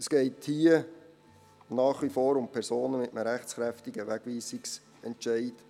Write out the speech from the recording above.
Es geht hier nach wie vor um Personen mit einem rechtskräftigen Wegweisungsentscheid.